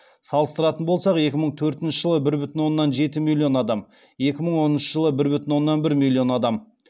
салыстыратын болсақ екі мың төртінші жылы бір бүтін оннан жеті миллион адам екі мың оныншы жылы бір бүтін оннан бір миллион адам